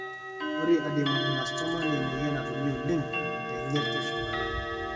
Ore Adenoameloblastoma naa emoyian natumi oleng tenyirt eshumata.